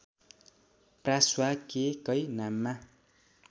प्रा स्वा के कै नाममा